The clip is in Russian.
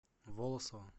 волосово